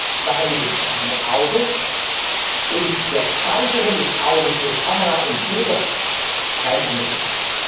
Ich mache zwischen dem Auge und der Speicherung des Auges durch Kamera und Bilder keinen Unterschied.